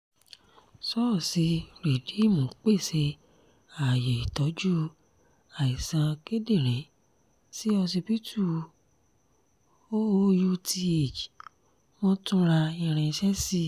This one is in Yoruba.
ṣọ́ọ̀ṣì rìdíìmù pèsè ààyè ìtọ́jú àìsàn kíndìnrín sí ọsibítù oouth wọ́n tún ra irinṣẹ́ sí i